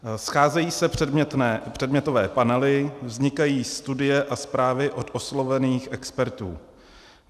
Scházejí se předmětové panely, vznikají studie a zprávy od oslovených expertů.